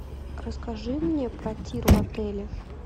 расскажи мне про тир в отеле